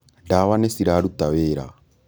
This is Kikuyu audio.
ndawa nĩciratuta wĩra